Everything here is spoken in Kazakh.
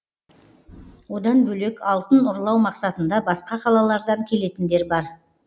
одан бөлек алтын ұрлау мақсатында басқа қалалардан келетіндер бар